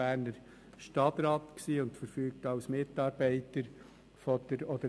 Die anderen sagen, dass Lars Guggisberg wegen seiner Erfahrung vielleicht ein bisschen besser aufgestellt ist.